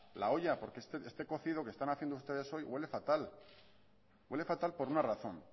la olla porque este cocido que están haciendo ustedes hoy huele fatal huele fatal por una razón